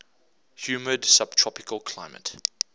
humid subtropical climate